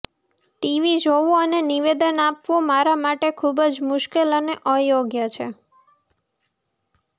TV જોવું અને નિવેદન આપવું મારા માટે ખૂબ જ મુશ્કેલ અને અયોગ્ય છે